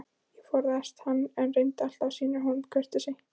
Ég forðaðist hann, en reyndi alltaf að sýna honum kurteisi.